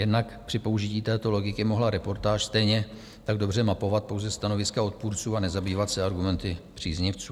Jednak při použití této logiky mohla reportáž stejně tak dobře mapovat pouze stanoviska odpůrců a nezabývat se argumenty příznivců.